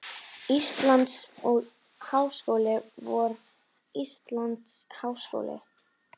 Íslands og háskóli vor Íslands háskóli.